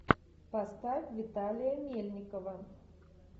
поставь виталия мельникова